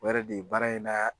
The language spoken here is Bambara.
O yɛrɛ de ye baara in na